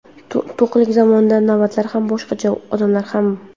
To‘qlik zamonida navbatlar ham boshqacha, odamlar ham.